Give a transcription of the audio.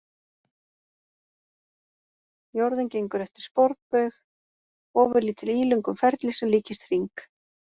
Jörðin gengur eftir sporbaug, ofurlítið ílöngum ferli sem líkist hring.